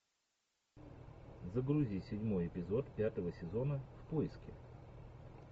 загрузи седьмой эпизод пятого сезона в поиске